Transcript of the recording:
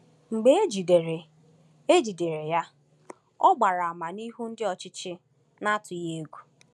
Mgbe e jidere e jidere ya, ọ gbara àmà n’ihu ndị ọchịchị n’atụghị egwu.